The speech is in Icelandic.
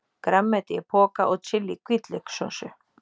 grænmeti í poka og chili-hvítlaukssósu.